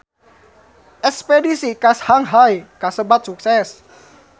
Espedisi ka Shanghai kasebat sukses